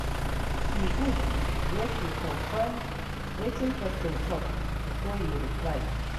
E good make you confirm wetin person talk before you reply.